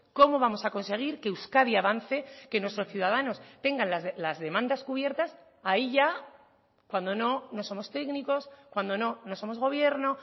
cómo vamos a conseguir que euskadi avance que nuestros ciudadanos tengan las demandas cubiertas ahí ya cuando no no somos técnicos cuando no no somos gobierno